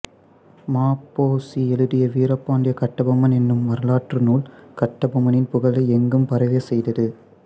ம பொ சி எழுதிய வீரபாண்டிய கட்டபொம்மன் என்னும் வரலாற்று நூல் கட்டபொம்மனின் புகழை எங்கும் பரவ செய்தது